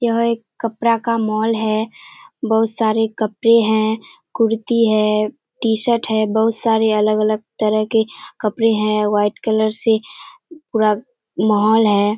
यह एक कपड़ा का मॉल है बहुत सारे कपड़े हैं कुर्ती है टी-शर्ट है बहुत सारे अलग-अलग तरह के कपड़े है व्‍हाईट कलर से पूरा मॉल हैं।